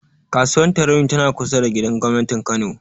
Kasuwar Tarauni tana kusa da gidan gobnatin Kano.